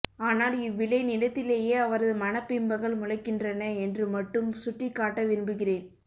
ஆனால் இவ்விளைநிலத்திலேயே அவரது மனப்பிம்பங்கள் முளைக்கின்றன என்று மட்டும் சுட்டிக் காட்ட விரும்புகிறேன்